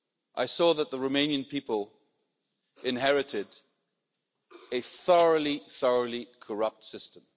I saw that the Romanian people had inherited a thoroughly, thoroughly corrupt system.